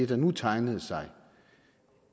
der nu tegnede sig